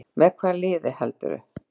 Með hvaða liði heldurðu?